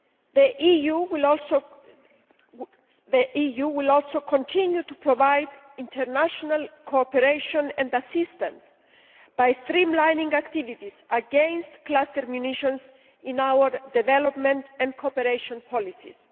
The EU will also continue to provide international cooperation and assistance by streamlining activities against cluster munitions in our development and cooperation policies.